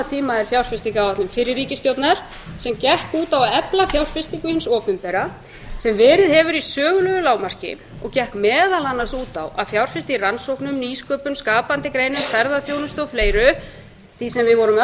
tíma er fjárfestingaráætlun fyrri ríkisstjórnar sem gekk út á að efla fjárfestingu hins opinbera sem verið hefur í sögulegu lágmarki og gekk meðal annars út á að fjárfesta í rannsóknum nýsköpun skapandi greinum ferðaþjónustu og fleira því sem við vorum öll